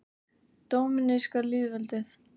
Dóminíska lýðveldið